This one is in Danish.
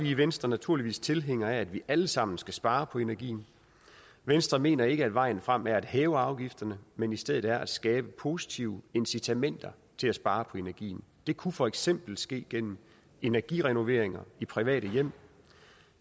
i venstre naturligvis tilhængere af at vi alle sammen skal spare på energien venstre mener ikke at vejen frem er at hæve afgifterne men i stedet at skabe positive incitamenter til at spare på energien det kunne for eksempel ske gennem energirenovering i private hjem